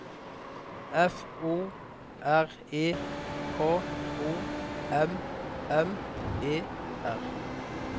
F O R E K O M M E R